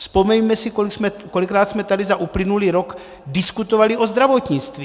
Vzpomeňme si, kolikrát jsme tady za uplynulý rok diskutovali o zdravotnictví.